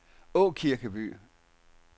Aakirkeby